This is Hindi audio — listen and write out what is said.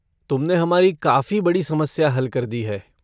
तुमने हमारी काफ़ी बड़ी समस्या हल कर दी है।